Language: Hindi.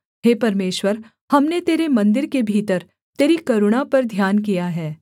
हे परमेश्वर हमने तेरे मन्दिर के भीतर तेरी करुणा पर ध्यान किया है